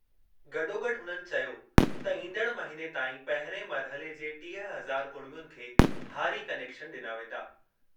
गॾोगॾु हुननि चयो त ईंदड़ महिने ताईं पहिरिएं मरहले जे टीह हज़ार कुड़मियुनि खे हारी कनेक्शन डि॒ना वेंदा।